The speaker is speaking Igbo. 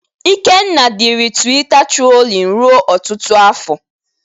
Ikenna diri Twita trolin ruo ọtụtụ afọ.